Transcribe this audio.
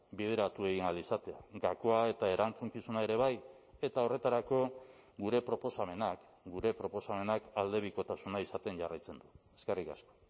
bideratu egin ahal izatea gakoa eta erantzukizuna ere bai eta horretarako gure proposamenak gure proposamenak aldebikotasuna izaten jarraitzen du eskerrik asko